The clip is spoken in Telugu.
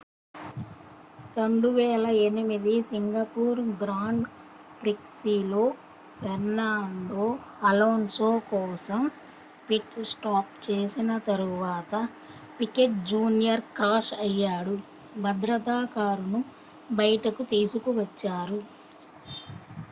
2008 సింగపూర్ గ్రాండ్ ప్రిక్స్లో ఫెర్నాండో అలోన్సో కోసం పిట్ స్టాప్ చేసిన తరువాత పికెట్ జూనియర్ క్రాష్ అయ్యాడు భద్రతా కారును బయటకు తీసుకువచ్చారు